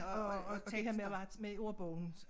Og og det her med at være med i ordbogens